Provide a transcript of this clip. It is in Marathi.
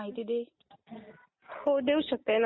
थोडी माहिती दे